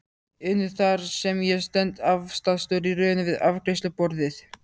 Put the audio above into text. inu þar sem ég stend, aftastur í röðinni við afgreiðsluborðið.